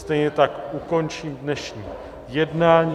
Stejně tak ukončím dnešní jednání.